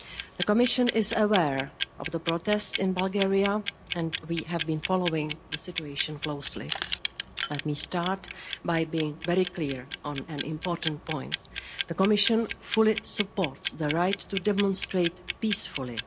The Commission is aware of the protests in Bulgaria and we have been following the situation closely. Let me start by being very clear on an important point the Commission fully supports the right to demonstrate peacefully.